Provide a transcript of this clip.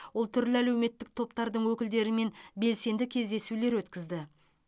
ол түрлі әлеуметтік топтардың өкілдерімен белсенді кездесулер өткізді